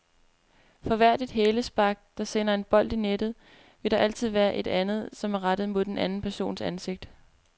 For hvert et hælspark, der sender en bold i nettet, vil der altid være et andet, som er rettet mod en anden persons ansigt.